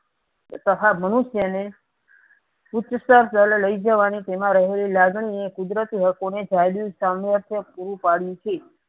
મનુષ્ય ને ઉચ્ચસ્તર જયારે લઇ જવા ની જેમાં રહેલી લાગણી એ કુદરતી હકો ને સામ્રાજ્ય પૂરું પડ્યું છે.